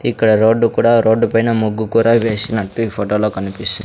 ఇక్కడ రోడ్డు కూడా రోడ్డుపైన ముగ్గు కూరా వేసినట్టు ఈ ఫోటోలో కనిపిస్--